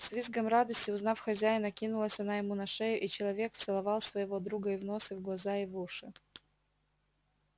с визгом радости узнав хозяина кинулась она ему на шею и человек целовал своего друга и в нос и в глаза и в уши